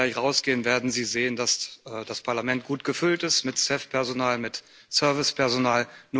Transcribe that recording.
Wenn Sie gleich rausgehen, werden Sie sehen, dass das Parlament gut gefüllt ist mit Festpersonal, mit Servicepersonal.